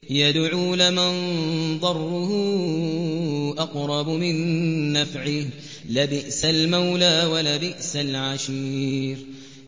يَدْعُو لَمَن ضَرُّهُ أَقْرَبُ مِن نَّفْعِهِ ۚ لَبِئْسَ الْمَوْلَىٰ وَلَبِئْسَ الْعَشِيرُ